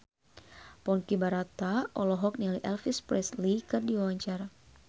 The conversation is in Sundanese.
Ponky Brata olohok ningali Elvis Presley keur diwawancara